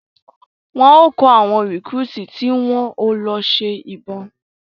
Wọn o kọ awọn recruit ti ń wón o ṣe lọ ibọn